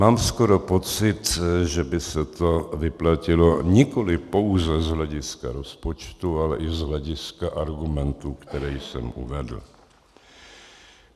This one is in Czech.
Mám skoro pocit, že by se to vyplatilo nikoli pouze z hlediska rozpočtu, ale i z hlediska argumentů, které jsem uvedl.